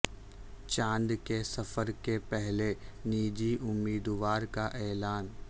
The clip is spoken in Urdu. چاند کے سفر کے پہلے نجی امیدوار کا اعلان